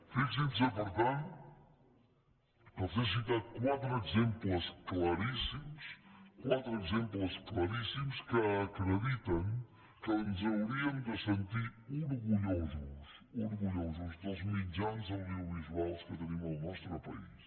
fixin se per tant que els he citat quatre exemples claríssims que acrediten que ens hauríem de sentir orgullosos dels mitjans audiovisuals que tenim al nostre país